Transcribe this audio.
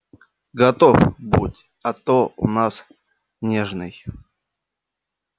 готов будь а то у нас нежный